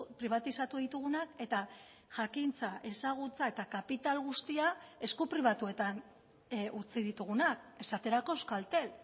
pribatizatu ditugunak eta jakintza ezagutza eta kapital guztia esku pribatuetan utzi ditugunak esaterako euskaltel